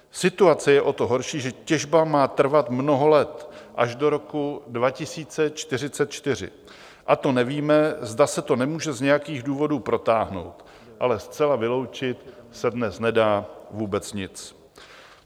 Situaci je o to horší, že těžba má trvat mnoho let, až do roku 2044, a to nevíme, zda se to nemůže z nějakých důvodů protáhnout, ale zcela vyloučit se dnes nedá vůbec nic.